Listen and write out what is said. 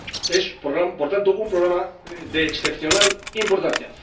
Es por tanto un programa de excepcional importancia.